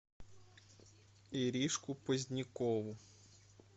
иришку позднякову